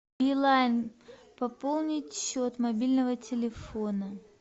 билайн пополнить счет мобильного телефона